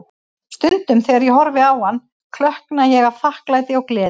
Stundum þegar ég horfi á hann, klökkna ég af þakklæti og gleði.